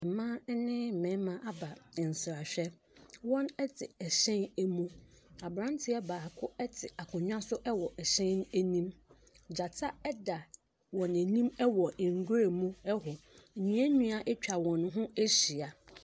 Mmaa ne mmari mmarima aba nsrahwɛ. Wɔte hyɛn mu. Abranteɛ baako te akonnwa so wɔ hyɛn no mu. Gyata da wɔn anim wɔ nwuram hɔ. Nnua nnua atwa wɔn ho ahyia.